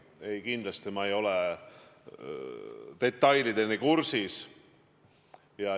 Ei, kindlasti ma ei ole seal toimuvaga detailideni kursis.